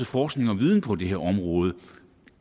forskning og viden på det her område